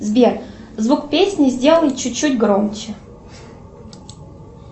сбер звук песни сделай чуть чуть громче